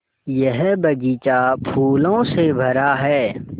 यह बग़ीचा फूलों से भरा है